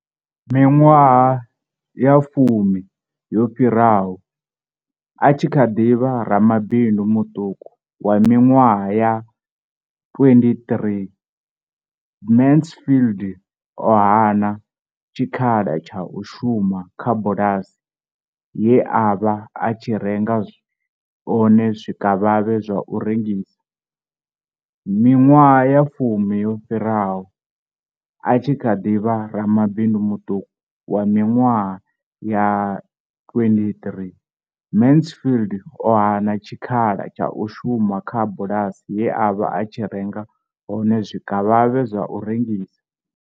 Miṅwaha ya fumi yo fhiraho, a tshi kha ḓi vha ramabindu muṱuku wa miṅwaha ya 23, Mansfield o hana tshikhala tsha u shuma kha bulasi ye a vha a tshi renga hone zwikavhavhe zwa u rengisa.